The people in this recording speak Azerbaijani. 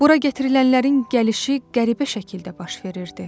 Bura gətirilənlərin gəlişi qəribə şəkildə baş verirdi.